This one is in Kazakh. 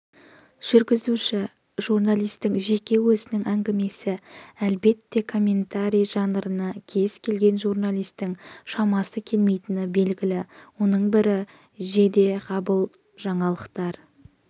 жүргізуші-журналистің жеке өзінің әңгімесі әлбетте комментарий жанрына кез-келген журналистің шамасы келмейтіні белгілі оның бірі жедеғабыл жаңалықтар